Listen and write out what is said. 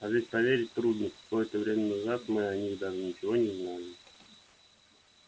а ведь поверить трудно какое-то время назад мы о них даже ничего не знали